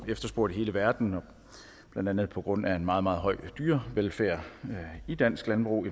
efterspurgt i hele verden blandt andet på grund af en meget meget høj dyrevelfærd i dansk landbrug